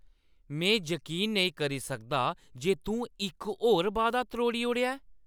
में यकीन नेईं करी सकदा जे तूं इक होर वादा त्रोड़ी ओड़ेआ ऐ।